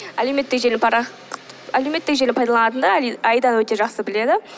әлеуметтік желі әлеуметтік желіні пайдаланытындар аиданы өте жақсы біледі